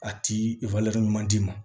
A ti ɲuman d'i ma